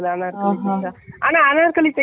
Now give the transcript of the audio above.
சாதா top பூ ம்